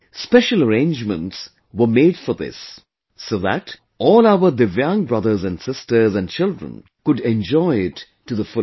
Special arrangements were made for this, so that all our Divyang brothers and sisters and children could enjoy it to the fullest